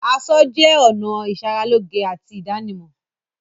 Aṣọ jẹ́ ọ̀nà ìṣaralóge àti ìdánimọ̀.